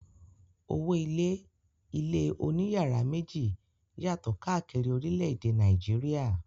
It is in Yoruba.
Owó-ilé ilé oníyàrá méjì yàtọ̀ káàkiri orílẹ̀-èdè Nàìjíríà.